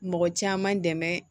Mɔgɔ caman dɛmɛ